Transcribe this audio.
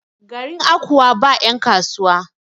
garin Akwa ba yankasuwa?